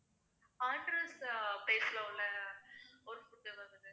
உள்ள ஒரு food வந்துட்டு